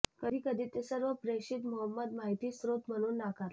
कधी कधी ते सर्व प्रेषित मुहम्मद माहिती स्रोत म्हणून नाकारले